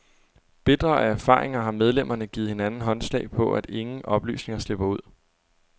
Bitre af erfaringer har medlemmerne givet hinanden håndslag på, at ingen oplysninger slipper ud.